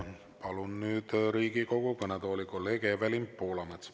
Palun nüüd Riigikogu kõnetooli kolleeg Evelin Poolametsa.